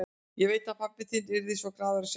Ég veit að pabbi þinn yrði svo glaður að sjá þig.